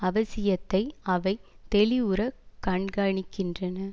அவசியத்தை அவை தெளிவுறக் கண்காணிக்கின்றன